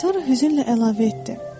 Sonra hüzünlə əlavə etdi: